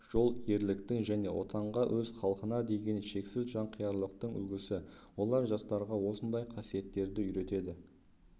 жол ерліктің және отанға өз халқына деген шексіз жанқиярлықтың үлгісі олар жастарға осындай қасиеттерді үйретеді